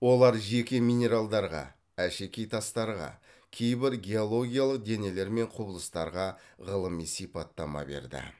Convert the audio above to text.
олар жеке минералдарға әшекей тастарға кейбір геологиялық денелер мен құбылыстарға ғылыми сипаттама берді